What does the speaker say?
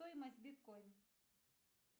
стоимость биткоин